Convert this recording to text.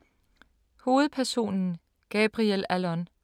Hovedpersonen Gabriel Allon